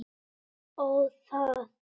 Ó, það!